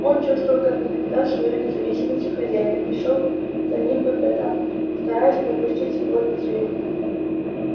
он чувствовал как никогда свою независимость от хозяина и шёл за ним по пятам стараясь не упустить его из виду